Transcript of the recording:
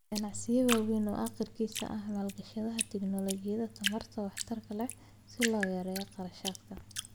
Ganacsiyo waaweyn oo agriis ah ayaa maalgashada tignoolajiyada tamarta waxtarka leh si loo yareeyo kharashaadka.